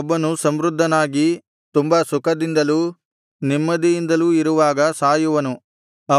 ಒಬ್ಬನು ಸಮೃದ್ಧನಾಗಿ ತುಂಬಾ ಸುಖದಿಂದಲೂ ನೆಮ್ಮದಿಯಿಂದಲೂ ಇರುವಾಗ ಸಾಯುವನು